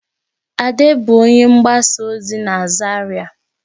Ade bụ onye mgbasa ozi na Zaria